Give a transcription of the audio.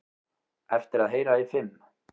Eftir að heyra í fimm